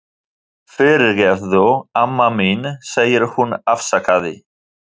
Fyrirgefðu, amma mín, segir hún afsakandi.